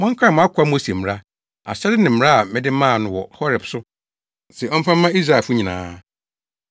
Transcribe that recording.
“Monkae mʼakoa Mose mmara, ahyɛde ne mmara a mede maa no wɔ Horeb so se ɔmfa mma Israelfo nyinaa.